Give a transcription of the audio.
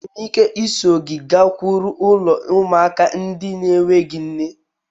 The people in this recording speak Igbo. Enwere m ike iso gị gakwuru ulo ụmụaka n'enweghi nne?